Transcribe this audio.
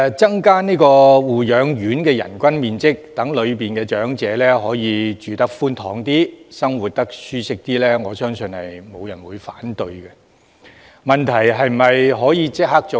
增加護養院的人均樓面面積，讓在護養院居住的長者住得較寬敞，生活較舒適，我相信沒有人會反對，問題是可否立即做到？